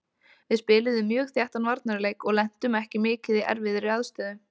Við spiluðum mjög þéttan varnarleik og lentum ekki mikið í erfiðri aðstöðu.